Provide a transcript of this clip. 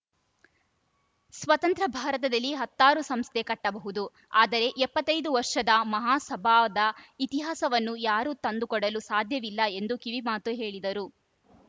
ಸ್ವತಂತ್ರ ಭಾರತದಲ್ಲಿ ಹತ್ತಾರು ಸಂಸ್ಥೆ ಕಟ್ಟಬಹುದು ಆದರೆ ಎಪ್ಪತ್ತ್ ಐದು ವರ್ಷದ ಮಹಾಸಭಾವದ ಇತಿಹಾಸವನ್ನು ಯಾರೂ ತಂದುಕೊಡಲು ಸಾಧ್ಯವಿಲ್ಲ ಎಂದು ಕಿವಿಮಾತು ಹೇಳಿದರು